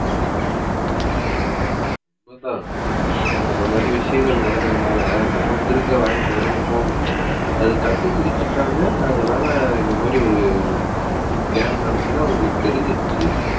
அதான் இந்த மாதிரி விஷயங்கள் நடக்கறதுனால நமக்கு இருக்க வாய்ப்புகளும் இப்பவும் அது கண்டுபிடிச்சுட்டாங்க. அதனால இந்த மாதிரி ஒரு scam நடந்துச்சுன்னா அவங்களுக்கு தெரிஞ்சிடுச்சு